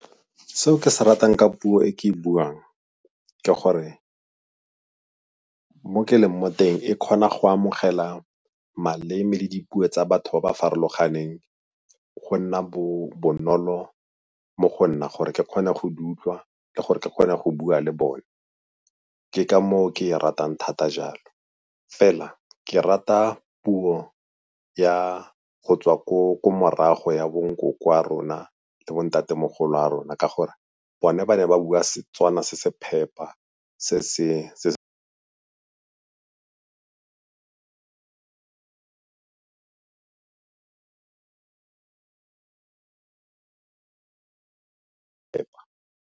Seo ke se ratang ka puo e ke e buang ke gore mo ke leng mo teng e kgona go amogela maleme le dipuo tsa batho ba ba farologaneng, go nna bonolo mo go nna gore ke kgone go di utlwa le gore ke kgone go bua le bone, ke ka moo ke ya ratang thata jalo. Fela ke rata puo ya go tswa ko morago ya bonkoko ba rona le bo ntatemogolo ba rona ka gore bone ba ne ba bua Setswana se se phepa se se phepa.